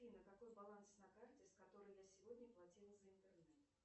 афина какой баланс на карте с которой я сегодня платила за интернет